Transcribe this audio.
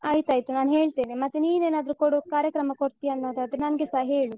ಆಯ್ತಾಯ್ತು ನಾನ್ ಹೇಳ್ತೇನೆ. ಮತ್ತೆ ನೀನ್ ಏನ್ ಆದ್ರು ಕೊಡ್, ಕಾರ್ಯಕ್ರಮ ಕೊಡ್ತೀಯಾ ಅನ್ನೋದಾದ್ರೆ ನಂಗೆ ಸ ಹೇಳು.